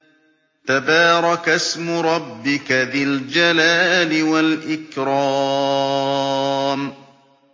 تَبَارَكَ اسْمُ رَبِّكَ ذِي الْجَلَالِ وَالْإِكْرَامِ